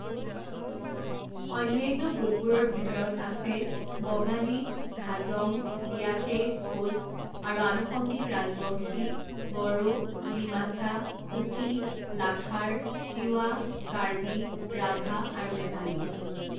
অন্যান্য গোটবোৰৰ ভিতৰত আছে বঙালী, হাজং, বিয়াটে, কোচ আৰু আনুষংগিক ৰাজবংশী, বড়ো, ডিমাছা, কুকি, লাখাৰ, তিৱা, কাৰ্বি, ৰাভা আৰু নেপালী।